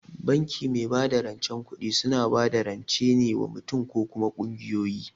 Banki mai bada rancen kuɗi suna bada rance ne wa mutum mutum or kuma kungiyoyi